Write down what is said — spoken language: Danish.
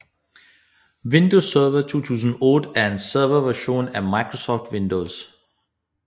Windows Server 2008 er en serverversion af Microsoft Windows